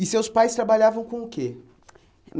E seus pais trabalhavam com o quê?